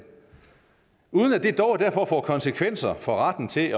uden at det dog derfor får konsekvenser for retten til